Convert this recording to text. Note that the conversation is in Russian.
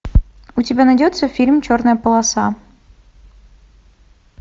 у тебя найдется фильм черная полоса